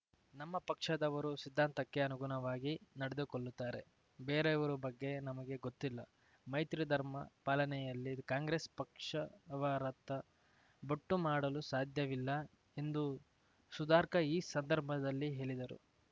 ನಮ್ಮ ಪಕ್ಷದವರು ಸಿದ್ಧಾಂತಕ್ಕೆ ಅನುಗುಣವಾಗಿ ನಡೆದುಕೊಳ್ಳುತ್ತಾರೆ ಬೇರೆಯವರು ಬಗ್ಗೆ ನಮಗೆ ಗೊತ್ತಿಲ್ಲ ಮೈತ್ರಿ ಧರ್ಮ ಪಾಲನೆಯಲ್ಲಿ ಕಾಂಗ್ರೆಸ್‌ ಪಕ್ಷವರತ್ತ ಬೊಟ್ಟು ಮಾಡಲು ಸಾಧ್ಯವಿಲ್ಲ ಎಂದು ಸುಧಾರ್ಕಾ ಈ ಸಂದರ್ಭದಲ್ಲಿ ಹೇಳಿದರು